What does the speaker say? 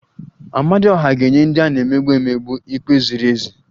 Amadioha ga-enye ndị a na-emegbu emegbu ikpe ziri ezi